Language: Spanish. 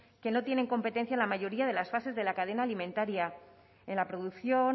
que no tienen competencia en la mayoría de las fases de la cadena alimentaria en la producción